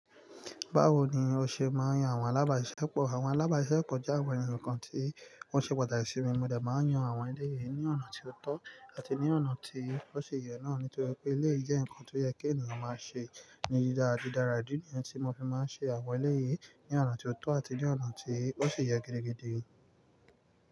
Báwo ni o ṣe máa ń yan àwọn alábàáṣepọ̀? Àwọn alábàáṣepọ̀ jẹ́ àwọn ènìyàn kan tí wọ́n ṣe pàtàkì sí mi. Mó jẹ máa ń yan àwọn eléyìí ní ọ̀nà tí ó tọ́ àti ní ọ̀nà tí ó ṣe yẹ náà nítorí pé eléyìí jẹ́ nǹkan tó yẹ kí ènìyàn máa ṣe ní jíjà àti dáradára. Ní ìgbà tí mo fi máa ń ṣe àwọn eléyìí ní ọ̀nà tí ó tọ́ àti ní ọ̀nà tí ó ṣe yẹ gidigidi.